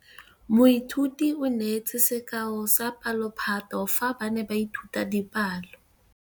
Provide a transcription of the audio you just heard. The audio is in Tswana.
Moithuti o neetse sekaô sa palophatlo fa ba ne ba ithuta dipalo.